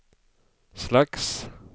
slags